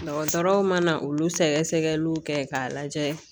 Dɔgɔtɔrɔw mana olu sɛgɛsɛgɛliw kɛ k'a lajɛ